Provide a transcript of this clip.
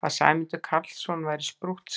Að Sæmundur Karlsson væri sprúttsali!